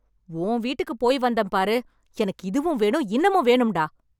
உன் வீட்டுக்கு போய், வந்தேன் பாருங்க! எனக்கு இதுவும் வேணும் இன்னமும் வேணும்டா